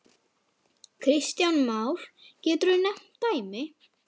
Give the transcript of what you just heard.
Kristján Már: Geturðu nefnt dæmi?